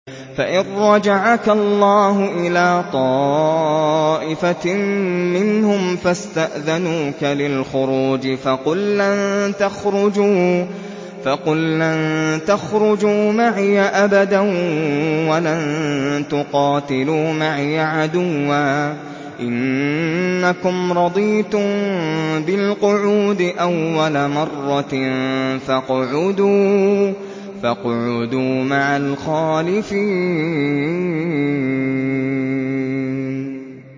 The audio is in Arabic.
فَإِن رَّجَعَكَ اللَّهُ إِلَىٰ طَائِفَةٍ مِّنْهُمْ فَاسْتَأْذَنُوكَ لِلْخُرُوجِ فَقُل لَّن تَخْرُجُوا مَعِيَ أَبَدًا وَلَن تُقَاتِلُوا مَعِيَ عَدُوًّا ۖ إِنَّكُمْ رَضِيتُم بِالْقُعُودِ أَوَّلَ مَرَّةٍ فَاقْعُدُوا مَعَ الْخَالِفِينَ